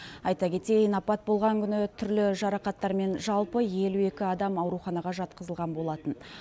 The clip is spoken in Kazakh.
айта кетейін апат болған күні түрлі жарақаттарымен жалпы елу екі адам ауруханаға жатқызылған болатын